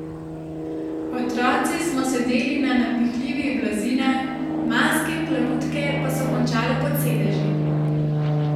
Otroci smo sedeli na napihljivih blazinah, maske in plavutke pa so končale pod sedeži.